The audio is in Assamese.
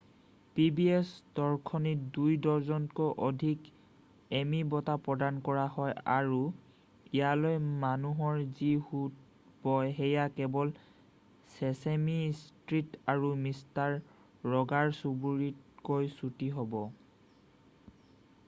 pbs দৰ্শনীত 2 ডজনতকৈ অধিক এমি বঁটা প্ৰদান কৰা হয় আৰু ইয়ালৈ মানুহৰ যি সোঁত বয় সেয়া কেৱল চেচেমি ষ্ট্ৰিট আৰু মিষ্টাৰ ৰ'গাৰৰ চুবুৰীতকৈ চুটি হ'ব